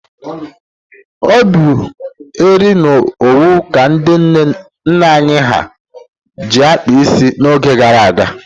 O bụ eri na owu ka ndị nne anyị ha ji kpaa isi n'oge gara aga.